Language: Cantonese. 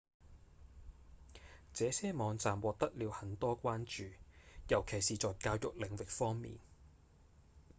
這些網站獲得了很多關注尤其是在教育領域方面